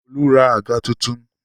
Olú ra àga tuntun.